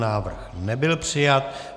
Návrh nebyl přijat.